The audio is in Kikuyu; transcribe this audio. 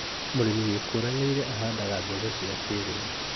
Mũrĩmi wĩkũranĩire ahandaga mbegũ cia kĩrĩu